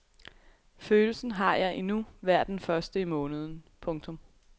Følelsen har jeg det endnu hver den første i måneden. punktum